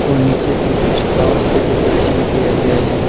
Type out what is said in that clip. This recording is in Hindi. और नीचे पर कुछ फ्लावर से डेकोरेशन किया गया है और--